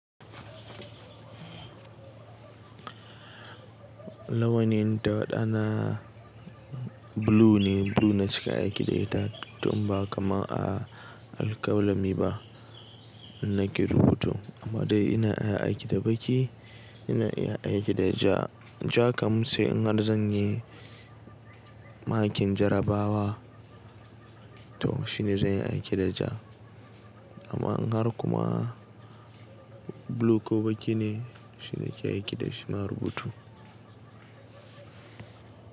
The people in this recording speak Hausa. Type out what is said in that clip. Lawani ta waɗannan blue ne. Blue na shiga aiki da ita to in ba kamar a alƙalami ba, in nake rubutu. Amma dai ina iya aiki da baki, ina iya aiki da ja. Ja kam sai in har zan yi makin jarabawa to shine zan yi aiki da ja. Amma in har kuma blue ko baki ne shina ke aiki da shi, na rubutu.